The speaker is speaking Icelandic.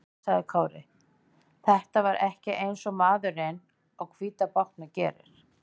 Nei, sagði Kári, þetta var ekki eins og maðurinn á hvíta bátnum gerir.